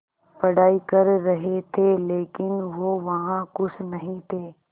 पढ़ाई कर रहे थे लेकिन वो वहां ख़ुश नहीं थे